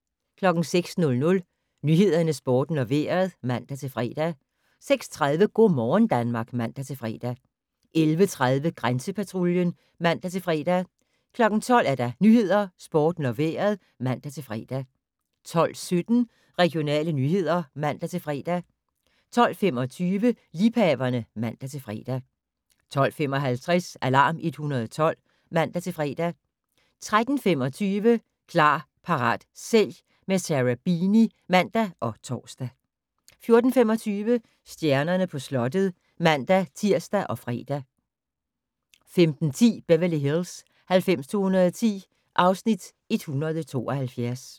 06:00: Nyhederne, Sporten og Vejret (man-fre) 06:30: Go' morgen Danmark (man-fre) 11:30: Grænsepatruljen (man-fre) 12:00: Nyhederne, Sporten og Vejret (man-fre) 12:17: Regionale nyheder (man-fre) 12:25: Liebhaverne (man-fre) 12:55: Alarm 112 (man-fre) 13:25: Klar, parat, sælg - med Sarah Beeny (man og tor) 14:25: Stjernerne på slottet (man-tir og fre) 15:10: Beverly Hills 90210 (Afs. 172)